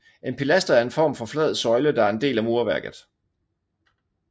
En pilaster er en form for flad søjle der er en del af murværket